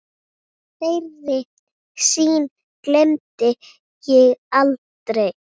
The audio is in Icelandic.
Þeirri sýn gleymi ég aldrei.